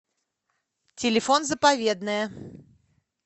телефон заповедное